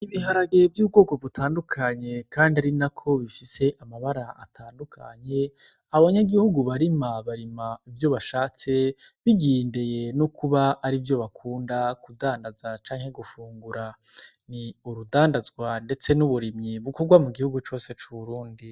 Ibiharage vy'ubwoko butandukanye kandi ari nako bifise amabara atandukanye. Abanyagihugu barima, barima ivyo bashatse bigendeye no kuba ari ivyo bakunda kudandaza canke gufungura. Ni urudandazwa ndetse n'uburimyi bukorwa mu gihugu cose c'Uburundi.